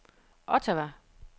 Ottawa